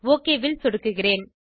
okay ல் சொடுக்குகிறேன்